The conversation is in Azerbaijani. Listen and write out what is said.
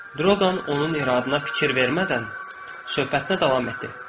Droqan onun iradına fikir vermədən söhbətinə davam etdi.